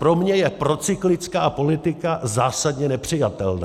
Pro mě je procyklická politika zásadně nepřijatelná.